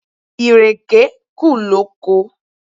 Ìrèké kù lóko.